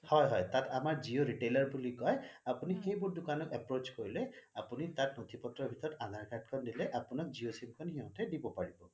হয় হয় তাত আমাৰ জিঅ' retailer বুলি কয় তাত আপুনি সেই বোৰ দোকানট approach কৰিলে আপুনি তাত নথি পত্ৰৰ ভিতৰত আধাৰ card খন দিলে জিঅ' sim খন সিহঁতে দিব পাৰিব